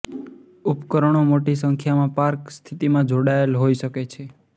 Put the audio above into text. ઉપકરણો મોટી સંખ્યામાં પાર્ક સ્થિતિમાં જોડાયેલ હોય શકે છે